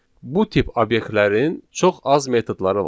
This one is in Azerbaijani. Bu tip obyektlərin çox az metodları var.